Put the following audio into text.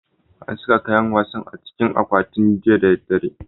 An saka kayan wasan a cikin akwati jiya da dare.